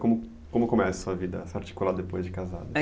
Como como começa a sua vida, depois de casado?